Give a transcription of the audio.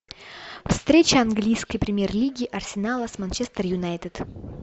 встреча английской премьер лиги арсенала с манчестер юнайтед